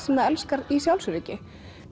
það elskar í sjálfsöryggi